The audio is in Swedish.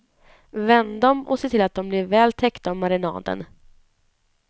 Vänd dem och se till att de blir väl täckta av marinaden.